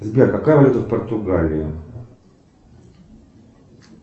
сбер какая валюта в португалии